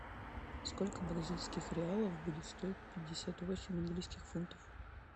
сколько бразильских реалов будет стоить пятьдесят восемь английских фунтов